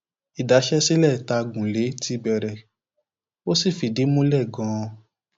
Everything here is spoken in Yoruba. ìdaṣẹ sílẹ tá a gùn lé ti bẹrẹ ó sì fìdí múlẹ ganan